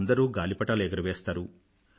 అందరూ గాలిపటాలు ఎగురవేస్తారు